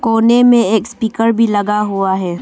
कोने में एक स्पीकर भी लगा हुआ है।